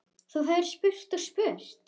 Þú hefðir spurt og spurt.